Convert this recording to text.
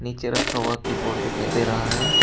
नीचे रखा हुआ कीबोर्ड दिखाई दे रहा है।